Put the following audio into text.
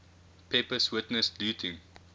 pepys witnessed looting